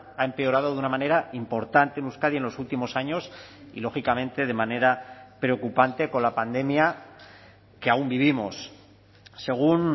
ha empeorado de una manera importante en euskadi en los últimos años y lógicamente de manera preocupante con la pandemia que aun vivimos según